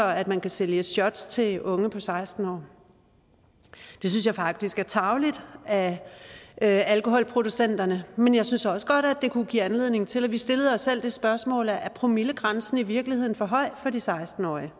at man kan sælge shots til unge på seksten år det synes jeg faktisk er tarveligt af alkoholproducenterne men jeg synes også godt at det kunne give anledning til at vi stillede os selv det spørgsmål om promillegrænsen i virkeligheden er for høj for de seksten årige